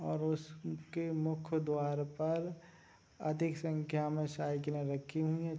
और उसके मुख्य द्वार पर अधिक संख्या में साइकिले रखी हुई हैं।